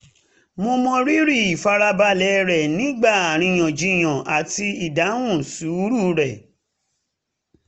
mo mọ rírì ìfarabalẹ̀ rẹ̀ nígbà aríyànjiyàn àti ìdáhùn sùúrù rẹ̀